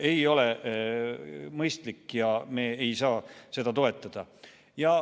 Ei ole mõistlik ja me ei saa seda toetada.